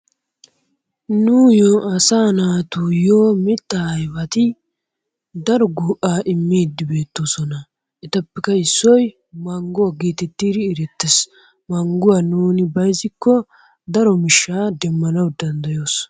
Nuuyoo asaa naatuyoo mittaa ayfeti daro go'aa immiidi beettoososna. Etappekka issoy mangguwa geetettees. Mangguwa nuuni bayzikko daro miisha demmana danddayettees.